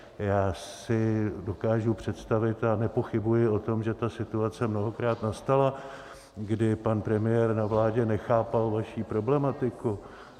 Já si dokážu představit - a nepochybuji o tom, že ta situace mnohokrát nastala, kdy pan premiér na vládě nechápal vaši problematiku.